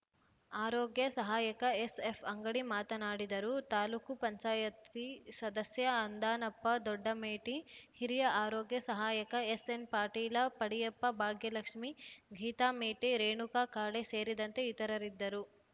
ಆರೋಗ್ಯ ಸಹಾಯಕ ಎಸ್ಎಫ್ ಅಂಗಡಿ ಮಾತನಾಡಿದರು ತಾಲೂಕ್ ಪಂಚಾಯತಿ ಸದಸ್ಯ ಅಂದಾನಪ್ಪ ದೊಡ್ಡಮೇಟಿ ಹಿರಿಯ ಆರೋಗ್ಯ ಸಹಾಯಕ ಎಸ್ಎನ್ ಪಾಟೀಲ ಪಡಿಯಪ್ಪ ಭಾಗ್ಯಲಕ್ಷ್ಮೀ ಗೀತಾ ಮೇಟಿ ರೇಣುಕಾ ಕಾಳೆ ಸೇರಿದಂತೆ ಇತರರಿದ್ದರು